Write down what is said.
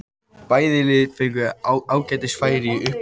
Bæði lið fengu ágætis færi í upphafi leiksins.